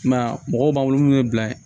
I m'a ye a mɔgɔw b'an bolo munnu bɛ bila ye